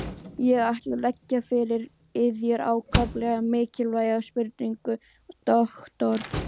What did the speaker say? Ég ætla að leggja fyrir yður ákaflega mikilvæga spurningu, doktor.